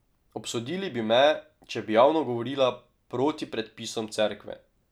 Obsodili bi me, če bi javno govorila proti predpisom Cerkve.